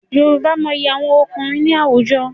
Yorùbá mọyi àwọn ọkùnrin ní àwùjọ.